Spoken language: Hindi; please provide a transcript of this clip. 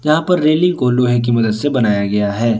रेलिंग को लोहे की मदद से बनाया गया है।